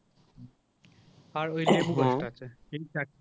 আর ওই ঠিক আছে